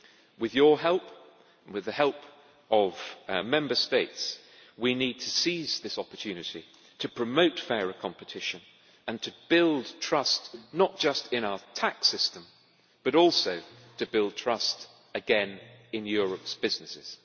With your help and the help of Member States we need to seize this opportunity to promote fairer competition and to build trust not just in our tax system but also to build trust again in Europe's businesses.